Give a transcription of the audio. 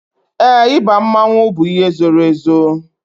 Éè, ịba mmanwu bụ ihe zoro ezo